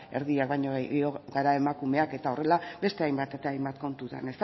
erdiak baino gehiago gara emakumeak eta horrela beste hainbat eta hainbat kontutan